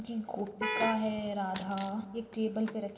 गोपिका है राधा ये टेबल पे रखे--